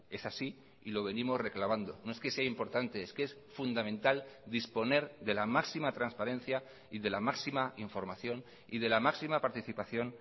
es así y lo venimos reclamando no es que sea importante es que es fundamental disponer de la máxima transparencia y de la máxima información y de la máxima participación